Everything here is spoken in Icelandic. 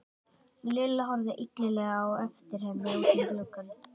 Lilla horfði illilega á eftir henni út um gluggann.